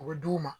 U bɛ d'u ma